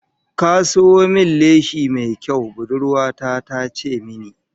"Ka sayo min leshi mai kyau", budurwa ta ta ce mini